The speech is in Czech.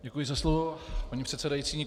Děkuji za slovo, paní předsedající.